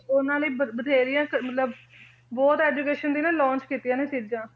ਉਹਨਾਂ ਲਈ ਬਥੇਰੀਆਂ ਮਤਲਬ ਬਹੁਤ education ਦੀ ਨਾ launch ਕੀਤੀਆਂ ਨੇ ਸਿਰਜਾਂ